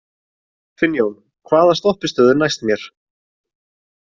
Finnjón, hvaða stoppistöð er næst mér?